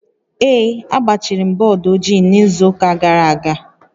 Ee, agbachiri m bọọdụ ojii n'izu ụka gara aga